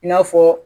I n'a fɔ